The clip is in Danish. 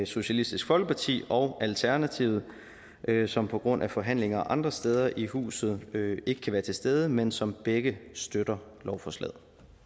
socialistisk folkeparti og alternativet som på grund af forhandlinger andre steder i huset ikke kan være til stede men som begge støtter lovforslaget